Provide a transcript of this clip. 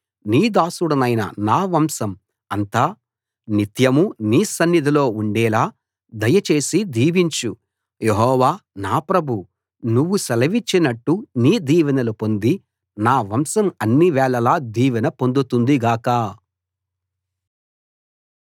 నీ దాసుడనైన నా వంశం అంతా నిత్యమూ నీ సన్నిధిలో ఉండేలా దయచేసి దీవించు యెహోవా నా ప్రభూ నువ్వు సెలవిచ్చినట్టు నీ దీవెనలు పొంది నా వంశం అన్నివేళలా దీవెన పొందుతుంది గాక